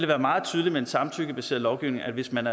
været meget tydeligt i en samtykkebaseret lovgivning hvis man